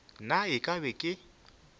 na e ka ba ke